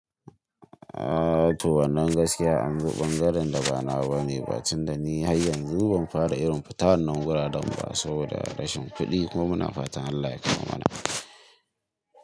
A to wannan gaskiya, an zo ɓangaren da ba na ba mai bacin da ni har yanzu ban fara irin fita wannan guraren ba saboda rashin kuɗi kuma muna fatan Allah ya kama mana.